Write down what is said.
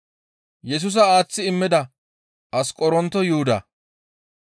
Yesusa aaththi immida Asqoronto Yuhuda.